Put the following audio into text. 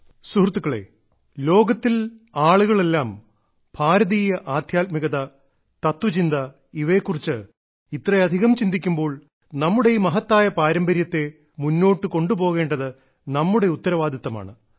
സുഹൃത്തുക്കളേ ലോകത്തിൽ ആളുകളെല്ലാം ഭാരതീയ ആദ്ധ്യാത്മികത തത്വചിന്ത ഇവയെക്കുറിച്ച് ഇത്രയധികം ചിന്തിക്കുമ്പോൾ നമ്മുടെ ഈ മഹത്തായ പാരമ്പര്യത്തെ മുന്നോട്ട് കൊണ്ടുപോകേണ്ടത് നമ്മുടെ ഉത്തരവാദിത്തമാണ്